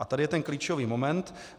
A tady je ten klíčový moment.